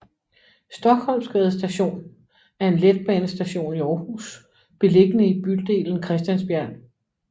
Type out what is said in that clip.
Stockholmsgade Station er en letbanestation i Aarhus beliggende i bydelen Christiansbjerg